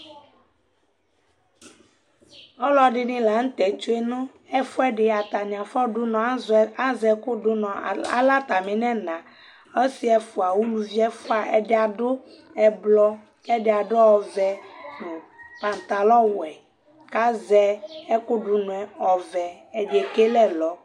ɔlọɗiɲi lɑɲutɛtsuɛ ẽfũɛɲɛfũɛɗi ɑtɑṅiɑfọ ɗuɲɔ ɑzɛkũ ɗụɲọ ɑlɛ ɑtɑmiɴɛɲɑ ɔsiɛfʊɑ ũluviɛfụɑ ɛɗiɗũ ɛblɔ ɛɗiɑɗũ ɔvé pɛɲtɑlowẽ kɑzɛ ɛkũɗụṅọ ɔvẽ ɛɗiɛkɛlé ẽlɔ